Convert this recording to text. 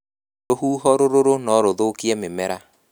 Rũhuho rũrũrũ no rũthũkie mĩmera